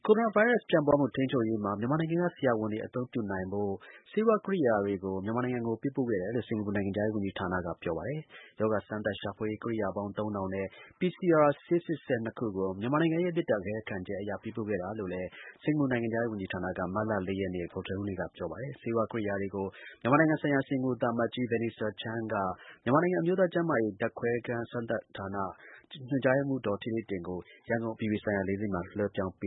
ိုရိုနာ ဗိုင်းရပ်စ် ပြန့်ပွားမှု ထိန်းချုပ်ရေးမှာ မြန်မာနိုင်ငံက ဆရာဝန်တွေ အသုံးပြုနိုင်ဖို့ ဆေးဝါး ကိရိယာတွေ မြန်မာနိုင်ငံကို ပေးပို့ခဲ့တယ်လို့ စင်္ကာပူနိုင်ငံခြားရေးဝန်ကြီးဌာနက ပြောပါတယ်။ ရောဂါ စမ်းသပ် ရှာဖွေရေး ကိရိယာပေါင်း ၃၀၀၀ နဲ့ PCR ဆေးစစ်စက် ၂ ခုကို မြန်မာနိုင်ငံရဲ့ မေတ္တာရပ်ခံချက်အရ ပေးပို့ခဲ့တာလို့လည်း စင်္ကာပူနိုင်ငံခြားရေး ဝန်ကြီးဌာနက မတ်လ ၄ ရက်နေ့ ဗုဒ္ဓဟူးနေ့က ပြောပါတယ်။ ဆေးဝါး ကိရိယာတွေကို မြန်မာနိုင်ငံ ဆိုင်ရာ စင်္ကာပူ သံအမတ်ကြီး Vanessa Chan က မြန်မာနိုင်ငံ အမျိုးသား ကျန်းမာရေး ဓါတ်ခွဲစမ်းသပ်ခန်းဌာန ညွှန်ကြားရေးမှူး ဒေါ်ဌေးဌေးတင်ကို ရန်ကုန် အပြည်ပြည်ဆိုင်ရာ လေဆိပ်မှာ လွှဲပြောင်း ပ